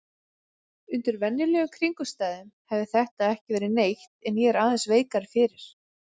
Undir venjulegum kringum stæðum hefði þetta ekki verið neitt en ég er aðeins veikari fyrir.